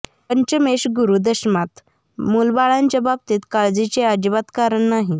पंचमेश गुरु दशमात मुलाबाळांच्या बाबतीत काळजीचे अजिबात कारण नाही